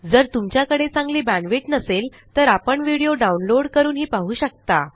जर तुमच्याकडे चांगली बॅण्डविड्थ नसेल तर आपण व्हिडिओ डाउनलोड करूनही पाहू शकता